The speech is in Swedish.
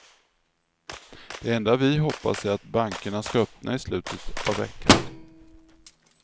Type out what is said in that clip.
Det enda vi hoppas är att bankerna ska öppna i slutet av veckan.